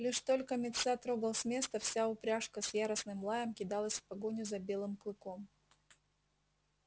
лишь только мит са трогал с места вся упряжка с яростным лаем кидалась в погоню за белым клыком